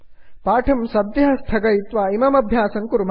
पाठं सद्यः स्थगयित्वा इमम् अभ्यासम् कुर्मः